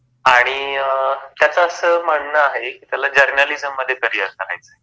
आणि अ त्याच अस म्हणण आहे कि त्याला जर्नालिझममध्ये करिअर करायच आहे.